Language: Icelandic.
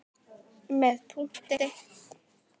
Með punkti.